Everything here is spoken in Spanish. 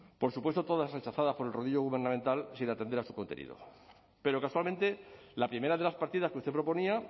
por supuesto todas rechazadas por el rodillo gubernamental sin atender a su contenido pero casualmente la primera de las partidas que usted proponía